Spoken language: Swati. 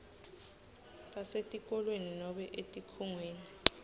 basetikolweni nobe etikhungweni